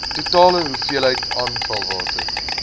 totale hoeveelheid afvalwater